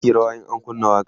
zaki yi rawa in an kunna waƙa